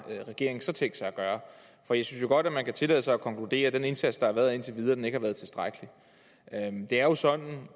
regeringen så tænkt sig at gøre for jeg synes jo godt man kan tillade sig at konkludere at den indsats der indtil videre har været ikke har været tilstrækkelig det er jo sådan og